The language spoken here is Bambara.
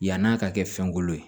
Yann'a ka kɛ fɛn kolo ye